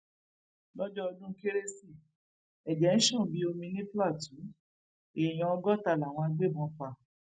lọjọ ọdún kérésì ẹjẹ ń ṣàn bíi omi ní plateau èèyàn ọgọta làwọn agbébọn pa